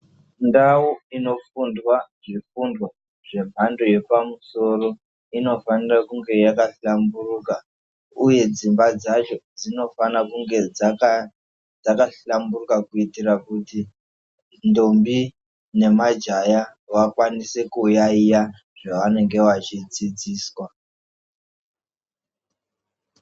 Ndau inofundwa zvifundo zvemhando yepamusoro, inofanira kunge yakahlamburuka. Uye dzimba dzacho dzinofara kunge dzakahlamburuka kuitira kuti ntombi nemajaya vakwanise kuyayeya zvavanenge veidzidziswa.